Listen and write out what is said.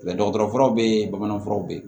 dɔgɔtɔrɔ furaw bɛ yen bamananfuraw bɛ yen